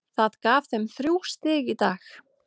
Það gaf þeim þrjú stig í dag.